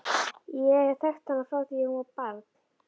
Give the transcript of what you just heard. Ég hef þekkt hana frá því að hún var barn.